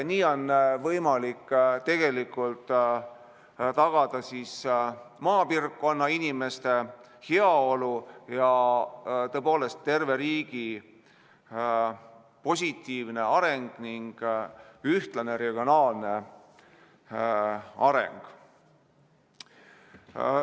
Nii on tegelikult võimalik tagada maapiirkonna inimeste heaolu ja terve riigi positiivne areng ning ühtlane regionaalne areng.